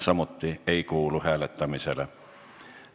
Seegi ei kuulu hääletamisele.